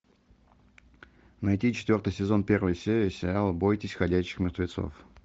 найти четвертый сезон первая серия сериала бойтесь ходячих мертвецов